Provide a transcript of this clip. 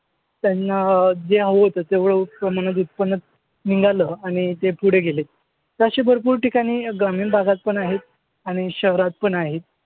त्यांना जे हवं होतं तेवढं उत्पन्न निघालं आणि ते पुढे गेलेत. तर अशी भरपूर ठिकाणी ग्रामीण भागातपण आहेत आणि शहरातपण आहेत.